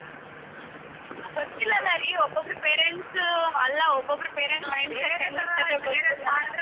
ಗೊತ್ತಿಲ್ಲಲರಿ ಒಬ್ಬಬ್ರು parents ಅಲ್ಲ ಒಬ್ಬಬ್ರು parents .